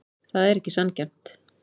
Það er ekki sanngjarnt.